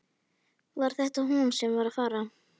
Var þetta hún sem var að fara?